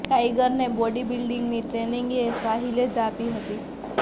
ટાઈગરને body બિલ્ડીંગની training એ સાહિલે જ આપી હતી